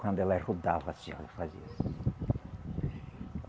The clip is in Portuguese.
Quando ela rodava assim, ó, ela fazia assim.